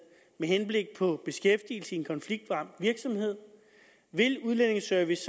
med henblik på beskæftigelse i en konfliktramt virksomhed vil udlændingeservice